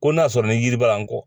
Ko n'a y'a sɔrɔ ni yiri b'a la n kɔ.